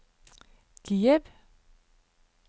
Kiev